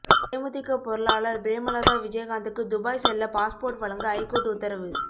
தேமுதிக பொருளாளர் பிரேமலதா விஜயகாந்துக்கு துபாய் செல்ல பாஸ்போர்ட் வழங்க ஐகோர்ட் உத்தரவு